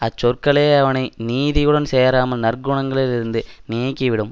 அச் சொற்களே அவனை நீதியுடன் சேராமல் நற்குணங்களிலிருந்து நீக்கிவிடும்